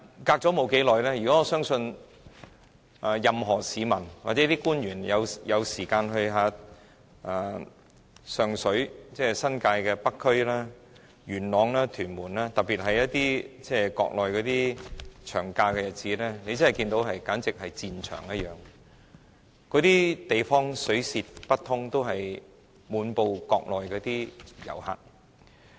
可是，沒多久，我相信任何市民或官員如果有空前往新界北區，例如上水、元朗、屯門，特別是在國內放長假的日子，也會看到這些地區猶如戰場一樣，街道擠得水泄不通，滿布國內遊客。